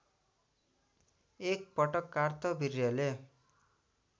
एक पटक कार्तवीर्यले